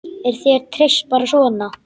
Er þér treyst bara svona?